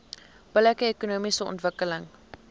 billike ekonomiese ontwikkeling